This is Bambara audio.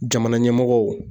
Jamana ɲɛmɔgɔw.